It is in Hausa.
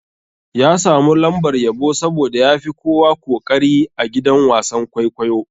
Ya samu lambar yabo saboda yafi kowa koƙari a gidan wasan-kwaikwayo.